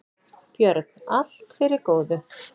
Björn: Allt fyrir góðu.